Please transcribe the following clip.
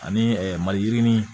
Ani maliyirinin